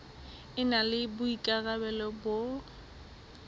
e na le boikarabelo ba